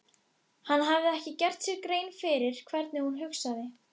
Hann hafði ekki gert sér grein fyrir hvernig hún hugsaði.